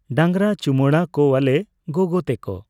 ᱰᱟᱝᱨᱟ ᱪᱩᱢᱟᱹᱲᱟ ᱠᱚᱣᱟᱞᱮ ᱜᱚᱜᱚ ᱛᱟᱠᱚ᱾